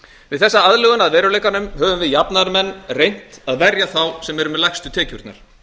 við þessa aðlögun að veruleikanum höfum við jafnaðarmenn reynt að verja þá sem eru á lægstu tekjurnar